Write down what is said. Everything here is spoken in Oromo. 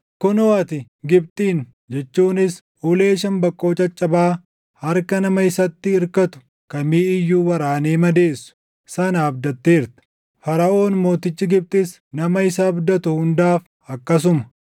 Kunoo ati Gibxin jechuunis ulee shambaqqoo caccabaa harka nama isatti irkatu kamii iyyuu waraanee madeessu sana abdatteerta! Faraʼoon Mootichi Gibxis nama isa abdatu hundaaf akkasuma.